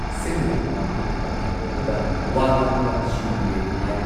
ꯁꯤꯟꯗꯨꯅ ꯄꯥꯡꯊꯣꯛꯈꯤꯕ ꯊꯧꯔꯝ ꯑꯗꯨꯗ ꯋꯥ ꯉꯥꯡꯕꯗ ꯁ꯭ꯔꯤ ꯕꯤꯔꯦꯟꯅ ꯍꯥꯏ